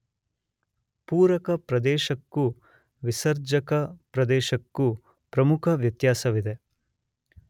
ಪೂರಕ ಪ್ರದೇಶಕ್ಕೂ ವಿಸರ್ಜಕ ಪ್ರದೇಶಕ್ಕೂ ಪ್ರಮುಖ ವ್ಯತ್ಯಾಸವಿದೆ.